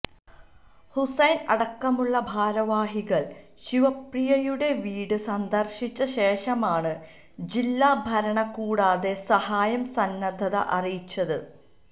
ഹുസൈൻ അടക്കമുള്ള ഭാരവാഹികൾ ശിവപ്രിയയുടെ വീട് സന്ദർശിച്ചശേഷമാണ് ജില്ലാഭരണകൂടത്തെ സഹായ സന്നദ്ധത അറിയിച്ചത്